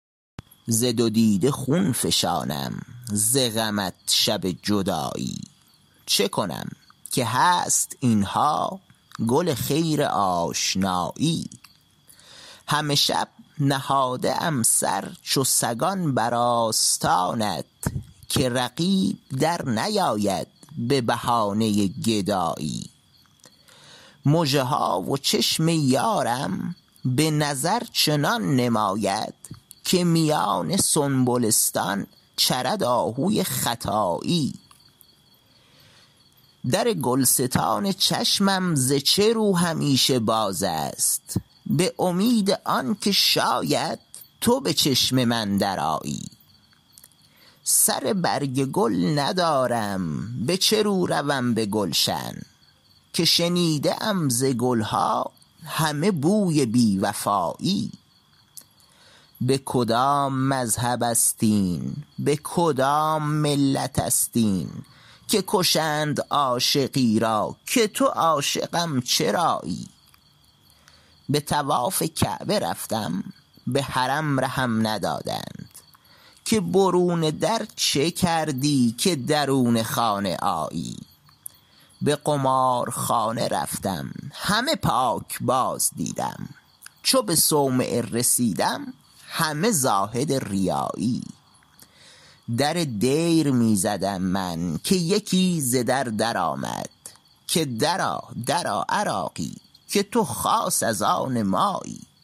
ز دو دیده خون فشانم ز غمت شب جدایی چه کنم که هست اینها گل خیر آشنایی همه شب نهاده ام سر چو سگان بر آستانت که رقیب در نیاید به بهانه گدایی مژه ها و چشم یارم به نظر چنان نماید که میان سنبلستان چرد آهوی ختایی در گلستان چشمم ز چه رو همیشه باز است به امید آنکه شاید تو به چشم من درآیی سر برگ گل ندارم به چه رو روم به گلشن که شنیده ام ز گلها همه بوی بی وفایی به کدام مذهب است این به کدام ملت است این که کشند عاشقی را که تو عاشقم چرایی به طواف کعبه رفتم به حرم رهم ندادند که برون در چه کردی که درون خانه آیی به قمارخانه رفتم همه پاکباز دیدم چو به صومعه رسیدم همه زاهد ریایی در دیر می زدم من که یکی ز در در آمد که درآ درآ عراقی که تو خاص از آن مایی